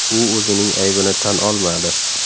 U o‘zining aybini tan olmadi.